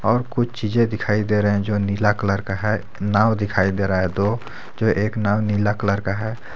और कुछ चीजें दिखाई दे रहे हैं जो नीला कलर का है नाव दिखाई दे रहा है दो जो एक नाव नीला कलर का है।